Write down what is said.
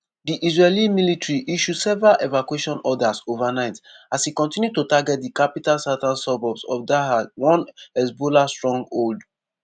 di israeli military issue several evacuation orders overnight as e continue to target di capital southern suburbs of dahieh one hezbollah stronghold.